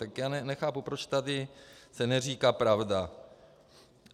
Tak já nechápu, proč se tady neříká pravda.